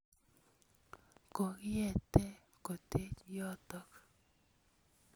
Kokiete kotech yotok